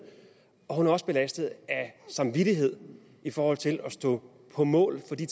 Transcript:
og hun er også belastet af samvittighed i forhold til at stå på mål for de